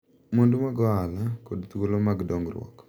Mwandu mag ohala, kod thuolo mag dongruok.